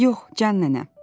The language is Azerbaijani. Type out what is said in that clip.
Yox, can nənə.